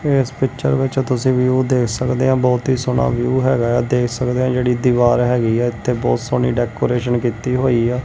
ਏਸ ਪਿਕਚ ਵਿੱਚ ਤੁਸੀ ਵਿਊ ਦੇਖ ਸਕਦੇ ਆਂ ਬਹੁਤ ਹੀ ਸੋਹਣਾ ਵਿਊ ਹੈਗਾ ਆ ਦੇਖ ਸਕਦੇ ਜਿਹੜੀ ਦੀਵਾਰ ਹੈਗੀ ਆ ਇਥੇ ਬਹੁਤ ਸੋਹਣੀ ਡੈਕੋਰੇਸ਼ਨ ਕੀਤੀ ਹੋਈ ਆ।